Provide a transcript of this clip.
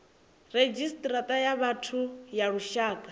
redzhisita ya vhathu ya lushaka